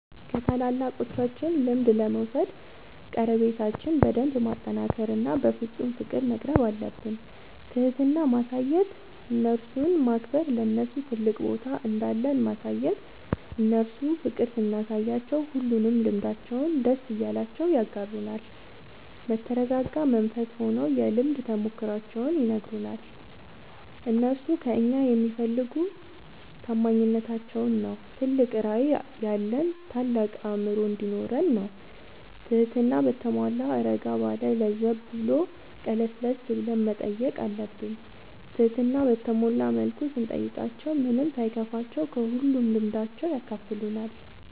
ከታላላቆቻችን ልምድ ለመውሰድ ቀረቤታችን በደንብ ማጠናከር እና በፍፁም ፍቅር መቅረብአለብን። ትህትና ማሳየት እነርሱን ማክበር ለነርሱ ትልቅ ቦታ እንዳለን ማሳየት እነርሱ ፍቅር ስናሳያቸው ሁሉንም ልምዳቸውን ደስ እያላቸው ያጋሩናል። በተረጋጋ መንፈስ ሆነው የልምድ ተሞክሯቸውን ይነግሩናል። እነርሱ ከእኛ የሚፈልጉ ታማኝነታችን ነው ትልቅ ራዕይ ያለን ታልቅ አእምሮ እንዲኖረን ነው ትህትና በተሟላ እረጋ ባለ ለዘብ ብሎ ቀለስለስ ብለን መጠየቅ አለብን ትህትና በተሞላ መልኩ ስንጠይቃቸው ምንም ሳይከፋቸው ከሁሉም ልምዳቸው ያካፍሉናል።